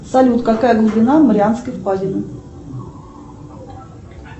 салют какая глубина марианской впадины